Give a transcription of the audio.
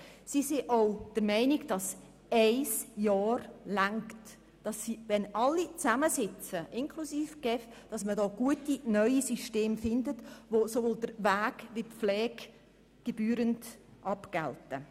Seitens der Spitex ist man auch der Meinung, ein Jahr reiche aus, und wenn alle zusammensitzen inklusive die GEF würde man gute neue Systeme finden, die sowohl den Weg als auch die Pflege gebührend abgelten.